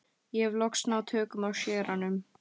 Ég hef loks náð tökum á séranum.